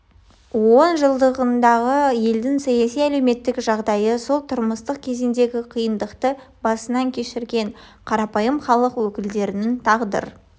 он жылдығындағы елдің саяси-әлеуметтік жағадайы сол тұрмыстық кезеңдегі қиындықты басынан кешірген қарапайым халық өкілдерінің тағдыр